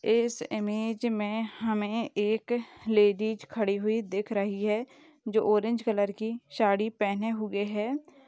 इस इमेज मे हमें एक लेडीज खडी हुए दिख रही है जो ऑरेंज कलर की साड़ी पहने हुए है।